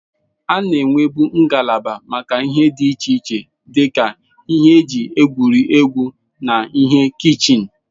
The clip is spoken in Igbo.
A na-enwebu ngalaba maka ihe dị iche iche dị ka ihe eji egwuri egwu na ihe kichin.